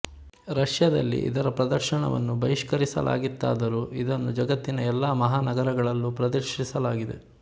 ರಷ್ಯದಲ್ಲಿ ಇದರ ಪ್ರದರ್ಶನವನ್ನು ಬಹಿಷ್ಕರಿಸಲಾಗಿತ್ತಾದರೂ ಇದನ್ನು ಜಗತ್ತಿನ ಎಲ್ಲ ಮಹಾನಗರಗಳಲ್ಲೂ ಪ್ರದರ್ಶಿಸಲಾಗಿದೆ